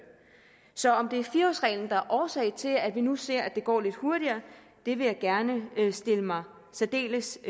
så om det er fire årsreglen der er årsag til at vi nu ser at det går lidt hurtigere vil jeg gerne stille mig særdeles